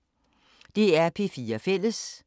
DR P4 Fælles